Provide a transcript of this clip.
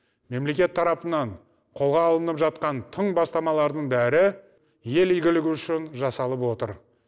мемлекет тарапынан қолға алынып жатқан тың бастамалардың бәрі ел игілігі үшін жасалып отыр